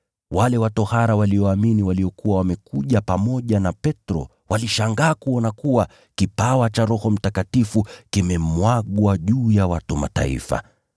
Wale wa tohara walioamini waliokuja na Petro walishangaa kwa kuona kuwa kipawa cha Roho Mtakatifu kimemwagwa juu ya watu wa Mataifa.